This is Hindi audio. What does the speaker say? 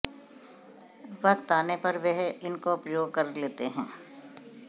वक्त आने पर वह इनको उपयोग कर लेते हैं